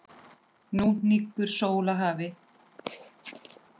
Nú hnígur sól að hafi.